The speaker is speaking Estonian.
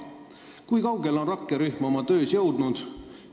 Kui kaugele nad on oma töös jõudnud?